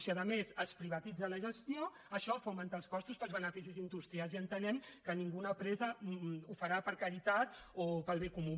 si a més se’n privatitza la gestió això fa augmentar els costos pels beneficis industrials i entenem que cap empresa ho farà per caritat o pel bé comú